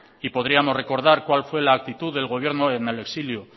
y podríamos recordar cuál fue la actitud del gobierno en el exilio